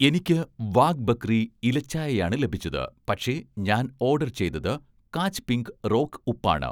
എനിക്ക് 'വാഗ് ബക്രി' ഇല ചായ ആണ് ലഭിച്ചത്, പക്ഷേ ഞാൻ ഓഡർ ചെയ്തത് 'കാച്ച് പിങ്ക്' റോക്ക് ഉപ്പ് ആണ്